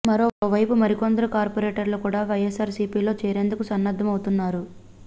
మరోవైపు మరికొందరు కార్పొరేటర్లు కూడా వైఎస్సార్ సీపీలో చేరేందుకు సన్నద్ధం అవుతున్నారు